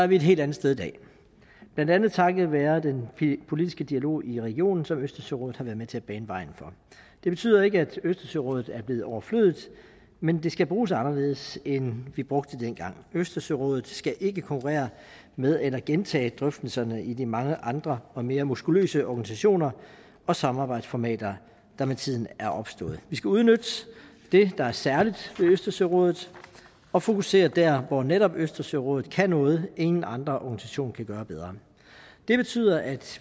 vi et helt andet sted i dag blandt andet takket være den politiske dialog i regionen som østersørådet har været med til at bane vejen for det betyder ikke at østersørådet er blevet overflødigt men det skal bruges anderledes end vi brugte det dengang østersørådet skal ikke konkurrere med eller gentage drøftelserne i de mange andre og mere muskuløse organisationer og samarbejdsformater der med tiden er opstået vi skal udnytte det der er særligt ved østersørådet og fokusere dér hvor netop østersørådet kan noget ingen andre organisationer kan gøre bedre det betyder at